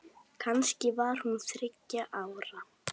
Kannski var hún þriggja ára.